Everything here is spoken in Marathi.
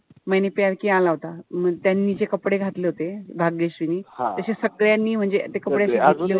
आला होता. म त्यांनी जे कपडे घातले होते. भाग्यश्रीनि तशे सगळ्यांनी म्हणजे ते कपडे अशे